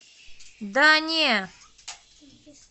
да не